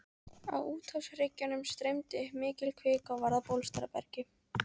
Á úthafshryggjunum streymdi upp mikil kvika og varð að bólstrabergi.